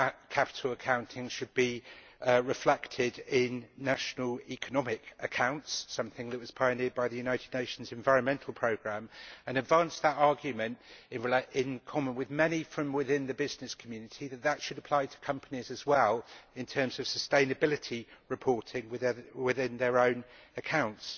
capital accounting should be reflected in national economic accounts, something which was pioneered by the United Nations Environment Programme and advanced the argument, in common with many from within the business community, that that should apply to companies as well in terms of sustainability reporting within their own accounts.